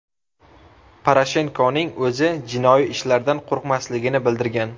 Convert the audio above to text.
Poroshenkoning o‘zi jinoiy ishlardan qo‘rqmasligini bildirgan.